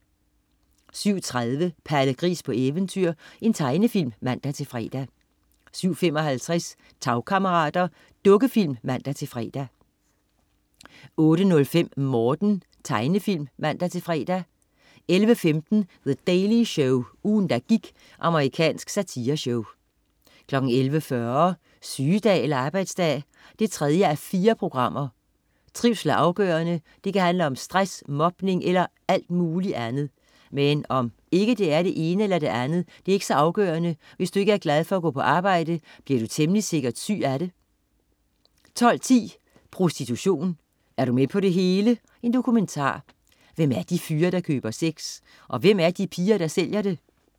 07.30 Palle Gris på eventyr. Tegnefilm (man-fre) 07.55 Tagkammerater. Dukkefilm (man-fre) 08.05 Morten. Tegnefilm (man-fre) 11.15 The Daily Show. Ugen, der gik. Amerikansk satireshow 11.40 Sygedag eller arbejdsdag? 3:4 Trivsel er afgørende. Det kan handle om stress, mobning eller alt muligt andet. Men om det er det ene eller det andet, er ikke så afgørende: Hvis du ikke er glad for at gå på arbejde, bliver du temmelig sikkert syg af det 12.10 Prostitution. Er du med på det hele?. Dokumentar. Hvem er de fyre, der køber sex? Og hvem er de piger, der sælger det?